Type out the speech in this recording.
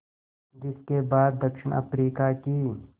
जिस के बाद दक्षिण अफ्रीका की